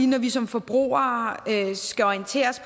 når vi som forbrugere skal orienteres